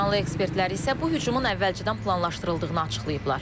İranlı ekspertlər isə bu hücumun əvvəlcədən planlaşdırıldığını açıqlayıblar.